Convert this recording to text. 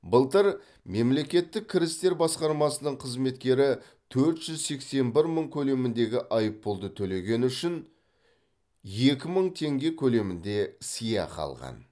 былтыр мемлекеттік кірістер басқармасының қызметкері төрт жүз сексен бір мың көлеміндегі айыппұлды төлегені үшін екі мың теңге көлемінде сыйақы алған